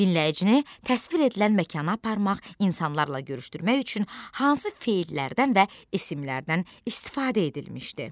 Dinləyicini təsvir edilən məkana aparmaq, insanlarla görüşdürmək üçün hansı fellərdən və isimlərdən istifadə edilmişdi?